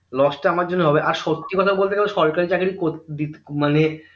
lose টা আমার জন্য হবে আর সত্যি কথা বলতে গেলে সরকারি চাকরি করতে দিতে মানে